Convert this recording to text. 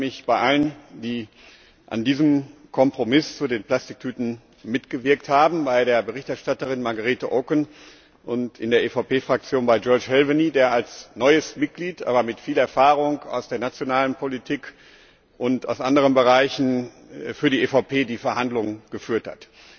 Ich bedanke mich bei allen, die an diesem Kompromiss zu den Plastiktüten mitgewirkt haben, bei der Berichterstatterin Margrete Auken und in der EVP Fraktion bei György Hölvényi, der als neues Mitglied, aber mit viel Erfahrung aus der nationalen Politik und aus anderen Bereichen die Verhandlungen für die EVP geführt hat.